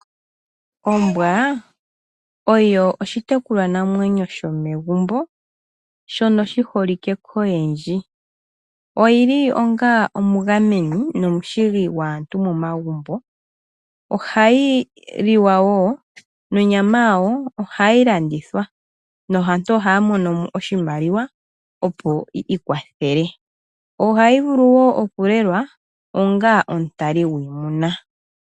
Ombwa oyo oshitekulwa namwenyo shomegumbo shono shi holike koyeendji. Oyili onga omugameni nomushigi gwaantu momagumbo. Ohayi li wa wo nonyama yawo ohayi landithwa. Aantu ohaya mono mo oshimaliwa, opo yi ikwathele, ohayi vulu wo okulelwa onga omutali gwiimuna.